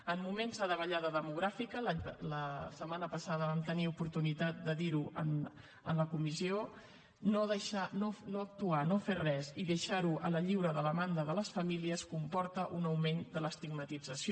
en moments de davallada demogràfica la setmana passada vam tenir oportunitat de dir ho en la comissió no actuar no fer res i deixar ho a la lliure demanda de les famílies comporta un augment de l’estigmatització